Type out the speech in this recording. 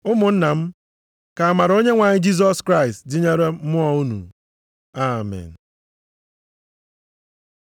Ụmụnna m, ka amara Onyenwe anyị Jisọs Kraịst dịnyere mmụọ unu. Amen.